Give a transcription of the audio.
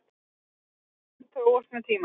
Einkennin þróast með tímanum.